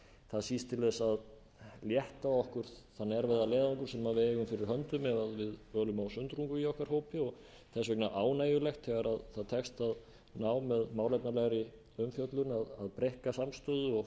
það síst til þess að létta okkur þann erfiða leiðangur sem við eigum fyrir höndum ef við ölum sundrungu okkar hópi þess vegna er ánægjulegt þegar það tekst að ná með málefnalegri umfjöllun að breikka samstöðu og